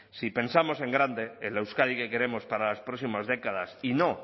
si pensamos en grande en la euskadi que queremos para las próximas décadas y no